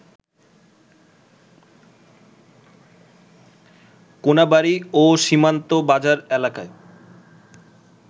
কোনাবাড়ী ও সীমান্ত বাজার এলাকায়